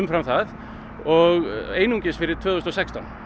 fram það og einungis fyrir árið tvö þúsund og sextán